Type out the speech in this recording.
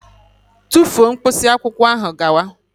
Tufuo mkpịsị akwụkwọ ahụ gawa!